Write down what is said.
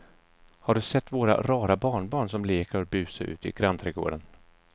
Har du sett våra rara barnbarn som leker och busar ute i grannträdgården!